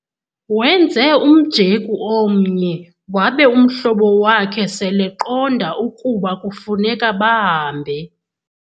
Wenze umjeku omnye wabe umhlobo wakhe seleqonda ukuba kufuneka bahambe.